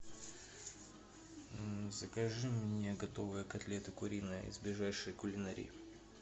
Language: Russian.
закажи мне готовые котлеты куриные из ближайшей кулинарии